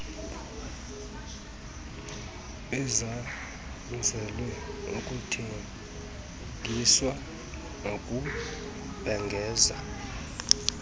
ezanzelwe ukuthengisa nokubhengeza